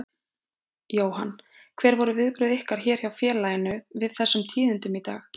Jóhann: Hver voru viðbrögð ykkar hér hjá félaginu við þessum tíðindum í dag?